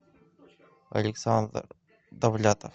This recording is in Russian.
александр довлятов